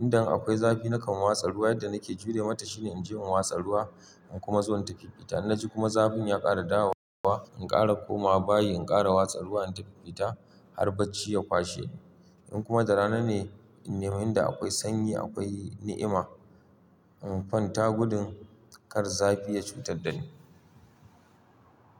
Idan akwai zafi nakan watsa ruwa yadda nake jure mata shine inje in watsa ruwa in kuma zo in tafi fita. In naji kuma zafin ya ƙara dawowa, in ƙara koma bayi in ƙara watsa ruwa in ta fifita har bacci ya kwashe. In kuma da rana ne, in nemi inda akwai sanyi akwai ni'ima, in kwanta gurin kar zafi ya cutar dani.